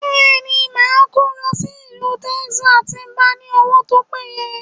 Bẹẹni, ma kó lọ sí ìlú Texas tí mo bá ní owó tó péye